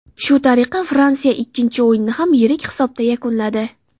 Shu tariqa Fransiya ikkinchi o‘yinni ham yirik hisobda yakunladi.